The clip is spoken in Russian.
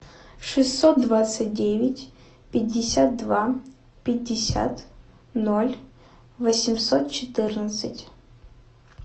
шестьсот двадцать девять пятьдесят два пятьдесят ноль восемьсот четырнадцать